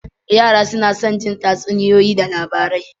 Yara suna son jin tatsuniyoyi da labarai.